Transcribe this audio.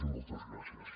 i moltes gràcies